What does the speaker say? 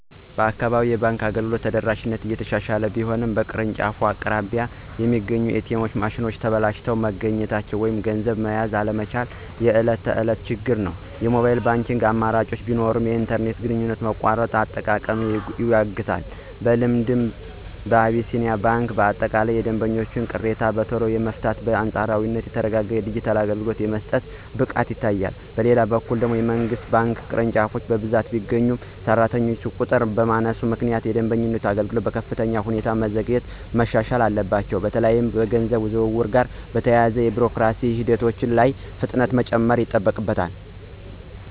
በአካባቢዬ የባንክ አገልግሎት ተደራሽነት እየተሻሻለ ቢሆንም፣ በየቅርንጫፎቹ አቅራቢያ የሚገኙት ኤ.ቲ.ኤም ማሽኖች ተበላሽተው መገኘት ወይም ገንዘብ መያዝ አለመቻላቸው የዕለት ተዕለት ችግር ነው። የሞባይል ባንኪንግ አማራጮች ቢኖሩም፣ የኢንተርኔት ግንኙነት መቆራረጥ አጠቃቀማቸውን ይገድባል። በልምዴ፣ አቢሲኒያ ባንክ በአጠቃላይ የደንበኞችን ቅሬታ በቶሎ የመፍታትና በአንጻራዊነት የተረጋጋ የዲጂታል አገልግሎት የመስጠት ብቃት ይታይበታል። በሌላ በኩል፣ የመንግሥት ባንክ ቅርንጫፎች በብዛት ቢገኙም፣ በሠራተኛ ቁጥር ማነስ ምክንያት የደንበኞችን አገልግሎት በከፍተኛ ሁኔታ ማዘግየትና ማሻሻል አለባቸው። በተለይም ከገንዘብ ዝውውር ጋር በተያያዙ የቢሮክራሲ ሂደቶች ላይ ፍጥነት መጨመር ይጠበቅባቸዋል።